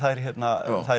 þær